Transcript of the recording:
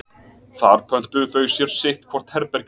Þar pöntuðu þau sér sitt hvort herbergið